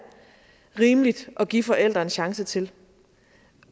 er rimeligt at give forældre en chance til